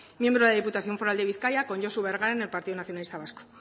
miembro de la diputación foral de bizkaia con josu bergara en el partido nacionalista vasco